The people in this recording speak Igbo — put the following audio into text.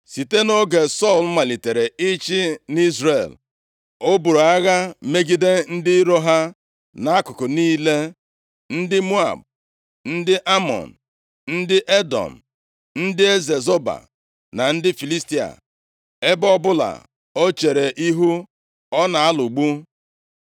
Site nʼoge Sọl malitere ịchị nʼIzrel, o buru agha megide ndị iro ha nʼakụkụ niile, ndị Moab, ndị Amọn, ndị Edọm, ndị eze Zoba na ndị Filistia. Ebe ọbụla o chere ihu ọ na-alụgbu.